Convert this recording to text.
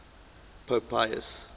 pope pius